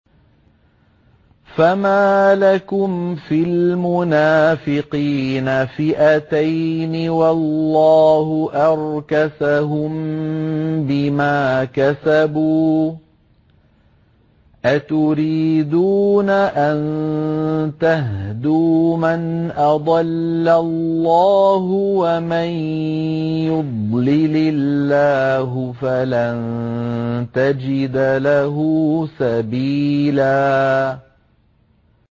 ۞ فَمَا لَكُمْ فِي الْمُنَافِقِينَ فِئَتَيْنِ وَاللَّهُ أَرْكَسَهُم بِمَا كَسَبُوا ۚ أَتُرِيدُونَ أَن تَهْدُوا مَنْ أَضَلَّ اللَّهُ ۖ وَمَن يُضْلِلِ اللَّهُ فَلَن تَجِدَ لَهُ سَبِيلًا